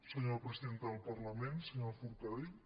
senyora presidenta del parlament senyora forcadell